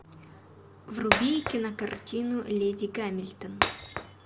вруби кинокартину леди гамильтон